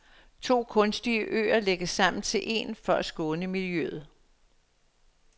To kunstige øer lægges sammen til en for at skåne miljøet.